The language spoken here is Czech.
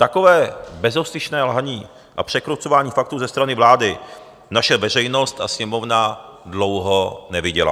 Takové bezostyšné lhaní a překrucování faktů ze strany vlády naše veřejnost a Sněmovna dlouho neviděly.